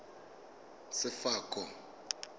sefako